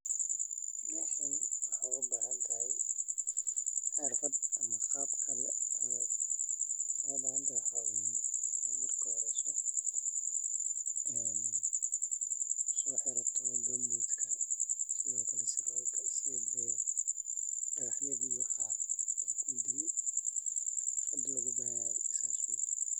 Meshan waxaa ugabaahantahay xirfad ama qaabka , waxa ogabaahantah waxa aye marka horeyso soxirato gumbootka sidhookale sarwaalka side dagaryaha iyo waxa ey kudilin xirfada loogabahanyahy saas waye.